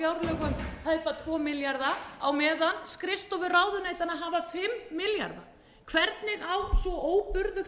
fjárlögum tæpa tvo milljarða á meðan skrifstofur ráðuneytanna hafa fimm milljarða hvernig á svo óburðugt